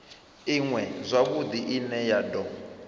iṅwe zwavhudi ine ya do